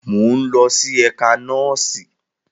Mo n lọ si ẹka nọọsi.